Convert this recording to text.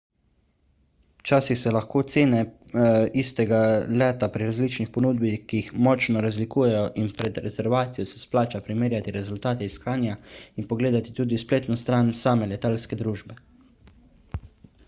včasih se lahko cene istega leta pri različnih ponudnikih močno razlikujejo in pred rezervacijo se splača primerjati rezultate iskanja in pogledati tudi spletno stran same letalske družbe